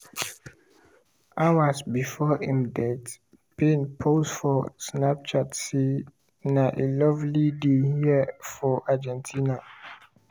hours before im death payne post for snapchat say: "na a lovely day here for argentina."